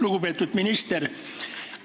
Lugupeetud minister!